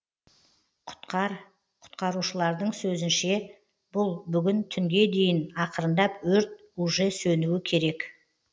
құтқар құтқарушылардың сөзінше бұл бүгін түнге дейін ақырындап өрт уже сөнуі керек